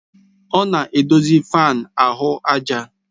Ọ na-edozi fáan ahụ àjà